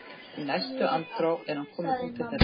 Í næstu andrá er hann kominn út til þeirra.